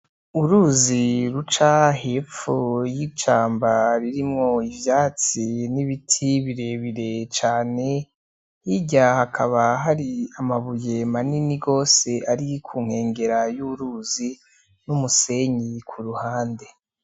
Uruzi ruca hepfo y'ishamba ririmwo ivyatsi n'ibiti birebire cane. Hirya hakaba hari amabuye manini gose biri ku nkengera y'uruzi, n'umusenyi ku ruhande.